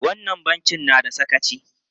Wannan bankin na da sakaci!